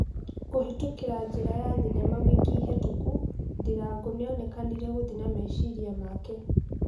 Kũhĩtũkĩra njĩra ya thinema ,wiki hĩtũku. Ndirango nĩonekanire gũthie na meciria make.